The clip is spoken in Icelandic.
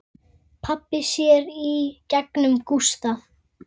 Pabbi sér í gegnum Gústa.